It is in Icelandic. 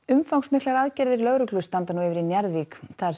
umfangsmiklar aðgerðir lögreglu standa nú yfir í Njarðvík þar